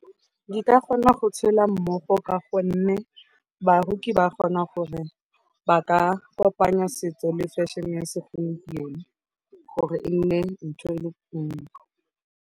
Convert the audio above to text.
Di ka gona go tshela mmogo ka gonne baroki ba kgona gore ba ka kopanya setso le fashion-e ya segompieno gore e nne ntho e le nngwe.